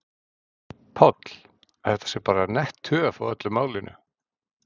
Páll: Að þetta sé bara nett töf á öllu málinu?